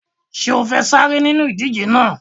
Ṣé o fẹ́ sáré nínú ìdíje náà?